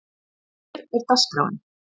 Hér er dagskráin: